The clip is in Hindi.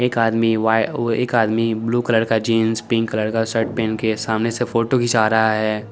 एक आदमी वाय एक आदमी ब्लू कलर का जीन्स पिंक कलर शर्ट पेहेनके सामने से फोटो खीचा रहा है ।